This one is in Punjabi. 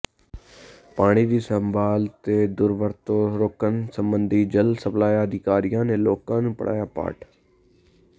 ਪਾਣੀ ਦੀ ਸੰਭਾਲ ਤੇ ਦੁਰਵਰਤੋਂ ਰੋਕਣ ਸੰਬੰਧੀ ਜਲ ਸਪਲਾਈ ਅਧਿਕਾਰੀਆਂ ਨੇ ਲੋਕਾਂ ਨੂੰ ਪੜਾਇਆ ਪਾਠ